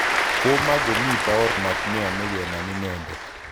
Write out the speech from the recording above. Koma komi paornat neyome kenam inendet